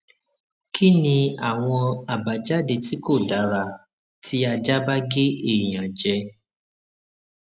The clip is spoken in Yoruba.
kí ni àwọn àbájáde tí kò dára tí aja ba ge eyan je